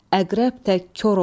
Əqrəb tək kor olar.